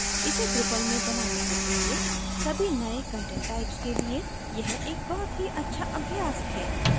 इसे drupal में बनाने से पहले सभी नए content types के लिए यह एक बहुत ही अच्छा अभ्यास है